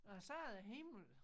Og så er der himmel